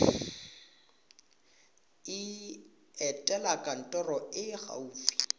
etela kantoro e e gaufi